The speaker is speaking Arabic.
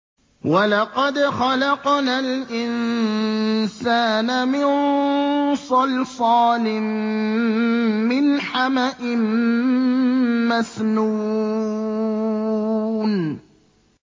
وَلَقَدْ خَلَقْنَا الْإِنسَانَ مِن صَلْصَالٍ مِّنْ حَمَإٍ مَّسْنُونٍ